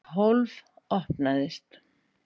Og hólf opnaðist.